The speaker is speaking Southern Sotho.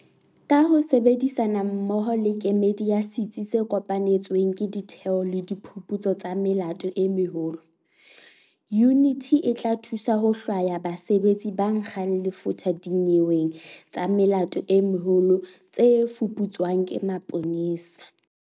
Ka ho sebedisana mmoho le kemedi ya Setsi se Kopanetsweng ke Ditheo tsa Diphuputso tsa Melato e Meholo, yuniti e tla thusa ho hlwaya basebetsi ba nkgang lefotha dinyeweng tsa melato e meholo tse fuputswang ke maponesa.